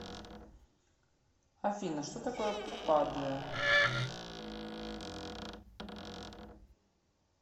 афина что такое падуя